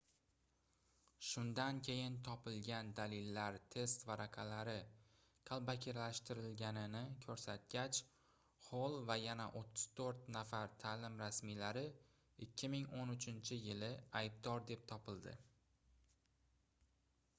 shundan keyin topilgan dalillar test varaqalari qalbakilashtirilganini koʻrsatgach xoll va yana 34 nafar taʼlim rasmiylari 2013-yili aybdor deb topildi